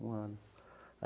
Um ano.